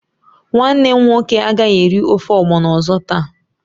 Nwannem nwoke agaghi eri ofe ogbono ozo taa.